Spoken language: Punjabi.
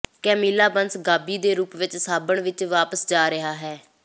ਕੈਮੀਲਾ ਬਨਸ ਗਾਬੀ ਦੇ ਰੂਪ ਵਿੱਚ ਸਾਬਣ ਵਿੱਚ ਵਾਪਸ ਜਾ ਰਿਹਾ ਹੈ